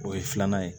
O ye filanan ye